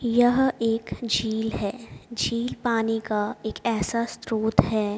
यह एक झील है झील एक पानी का ऐसा स्रोत है।